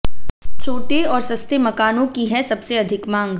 छोटे और सस्ते मकानों की है सबसे अधिक मांग